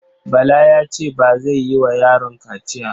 Bala ya ce ba zai yi wa yaron kaciya.